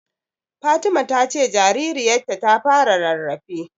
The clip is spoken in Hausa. Fatima ta ce jaririyarta ta fara rarrafe.